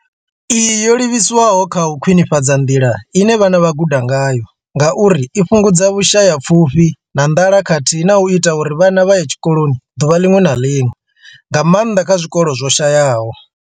Iyi yo livhiswa kha u khwinifhadza nḓila ine vhana vha guda ngayo ngauri i fhungudza Vhusha ya pfushi na nḓala khathihi na u ita uri vhana vha ye tshikoloni ḓuvha ḽiṅwe na ḽiṅwe, nga maanḓa kha zwikolo zwo shayaho.